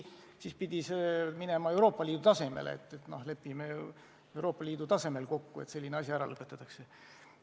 Siis pidi see minema Euroopa Liidu tasemele: lepime Euroopa Liidu tasemel kokku, et selline asi ära lõpetatakse.